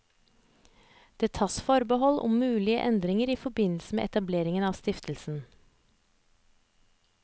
Det tas forbehold om mulige endringer i forbindelse med etableringen av stiftelsen.